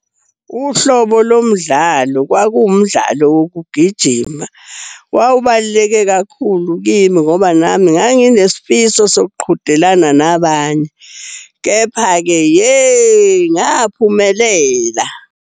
Uhlobo lomdlalo kwakuwumdlalo wokugijima. Wawubaluleke kakhulu kimi ngoba nami nganginesifiso sokuqhudelana nabanye. Kepha-ke, yey! Ngaphumelela.